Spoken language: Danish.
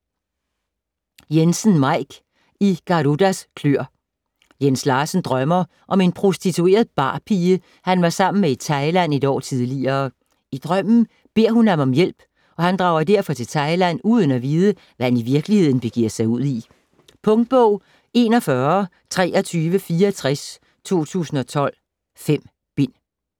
Jensen, Maik: I Garudas kløer Jens Larsen drømmer om en prostitueret barpige, han var sammen med i Thailand et år tidligere. I drømmen beder hun ham om hjælp, og han drager derfor til Thailand uden at vide, hvad han i virkeligheden begiver sig ud i. Punktbog 412364 2012. 5 bind.